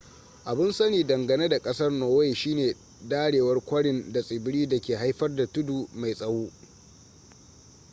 abun sani dangane da kasar norway shine darewar kwarin da tsibiri dake haifar da tudu mai tsawo